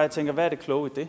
jeg tænker hvad er det kloge i det